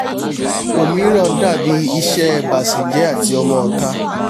ọ̀míràn dàbí iṣẹ́ ẹ bàsèjẹ́ àti ọmọọ̀ta